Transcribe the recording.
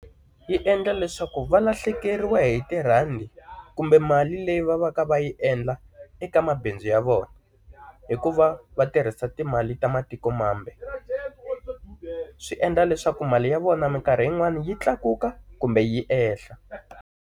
Yi endla leswaku va lahlekeriwa hi tirhandi, kumbe mali leyi va va ka va yi endla eka mabindzu ya vona. Hi ku va va tirhisa timali ta matikomambe. Swi endla leswaku mali ya vona minkarhi yin'wani yi tlakuka, kumbe yi ehla.